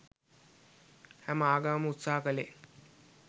හැම ආගමක්ම උත්සාහ කලේ